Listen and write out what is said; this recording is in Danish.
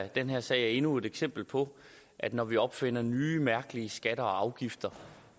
den her sag er endnu et eksempel på at når vi opfinder nye mærkelige skatter og afgifter